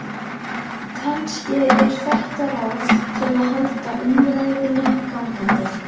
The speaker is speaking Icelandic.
Kannski er þetta ráð til að halda umræðunni gangandi.